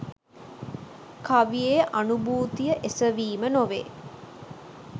කවියේ අනුභූතිය එසවීම නොවේ